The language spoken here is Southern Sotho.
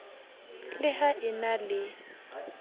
le ha e na le